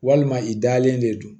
Walima i dalen de don